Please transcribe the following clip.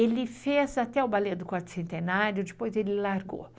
Ele fez até o balé do quarto centenário, depois ele largou.